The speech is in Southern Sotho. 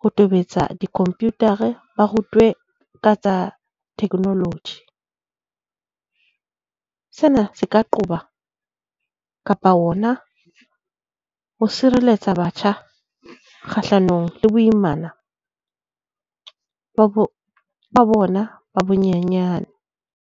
ho tobetsa di-computer-a. Ba rutwe ka tsa technology. Sena se ka qoba kapa hona ho sireletsa batjha kgahlanong le boimana ba bona ba bonyenyane.